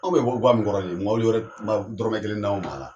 Anw bɛ bɔ ga min kɔrɔ nin ye mobili wɛrɛ ma dɔrɔmɛ kelen d'anw ma a la